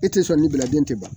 E tɛ sɔn ne ba den tɛ ban